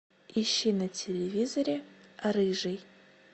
ищи на телевизоре рыжий